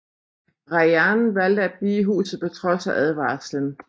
Rayan valgte at blive i huset på trods af advarslen